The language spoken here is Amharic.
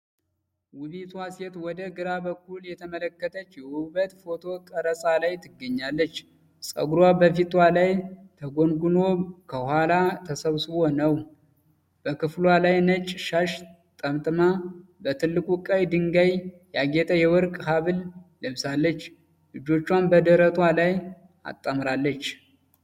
ውበቷ ሴት ወደ ግራ በኩል እየተመለከተች የውበት ፎቶ ቀረጻ ላይ ትገኛለች። ፀጉሯ በፊቷ ላይ ተጎንጉኖ ከኋላ ተሰብስቦ ነው። በክፍሏ ላይ ነጭ ሻሽ ጠምጥማ በትልቁ ቀይ ድንጋይ ያጌጠ የወርቅ ሐብል ለብሳለች። እጆቿን በደረቷ ላይ አጣምራለች።